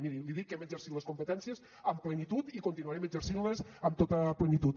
miri li dic que hem exercit les competències amb plenitud i continuarem exercint les amb tota plenitud